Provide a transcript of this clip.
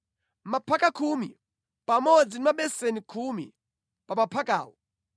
maphaka khumi pamodzi ndi mabeseni khumi pa maphakawo;